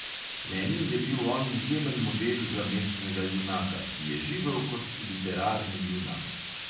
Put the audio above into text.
Meni je bil on izjemen model za mestnega junaka, ki je živel kot literarni junak.